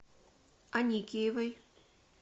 аникеевой